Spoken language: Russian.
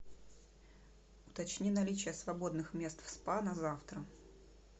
уточни наличие свободных мест в спа на завтра